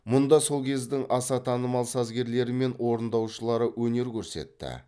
мұнда сол кездің аса танымал сазгерлері мен орындаушылары өнер көрсетті